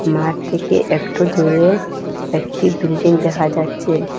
মাঠ থেকে একটু দূরে একটি বিল্ডিং দেখা যাচ্ছে।